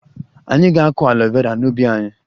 Anyị ga-akụ aloe Vera n'ubi anyị